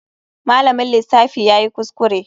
Malamin lissafi yayi kuskure.